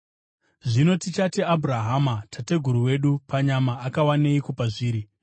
Zvino tichati Abhurahama, tateguru wedu, panyama akawaneiko pazviri?